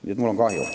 Nii et mul on kahju.